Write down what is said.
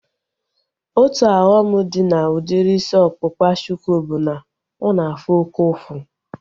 Otu ọghọm dị na udiri isi ọkpụkpa shuku bụ na ọ na-afụ oke ụfụ